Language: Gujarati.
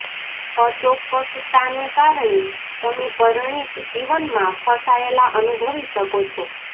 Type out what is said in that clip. અચોક્કસતાને કારણે તમે પરિણીત જીવનમાં ફસાયેલા અનુભવી શકો છો